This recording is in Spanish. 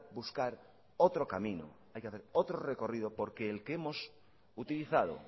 buscar otro camino hay que hacer otro recorrido porque el que hemos utilizado